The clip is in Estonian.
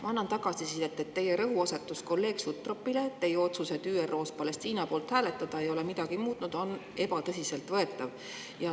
Ma annan tagasisidet, et teie rõhuasetus kolleeg Sutropile, et teie otsus ÜRO-s Palestiina poolt hääletada ei ole midagi muutnud, ei ole tõsiselt võetav.